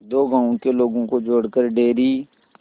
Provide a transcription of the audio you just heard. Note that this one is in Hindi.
दो गांवों के लोगों को जोड़कर डेयरी